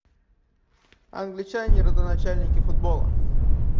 англичане родоначальники футбола